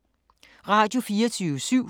Radio24syv